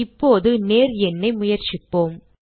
இப்போது நேர் எண்ணை முயற்சிப்போம்